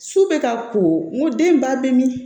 Su bɛ ka ko n ko den ba bɛ min